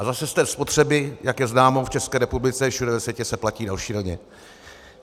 A zase z té spotřeby, jak je známo v České republice a všude ve světě, se platí šíleně.